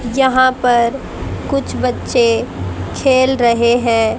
यहां पर कुछ बच्चे खेल रहे हैं।